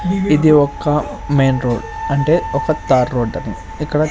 ఇది ఒక్కా main road అంటే ఒకా తార్ రోడ్ అని ఇక్కడా--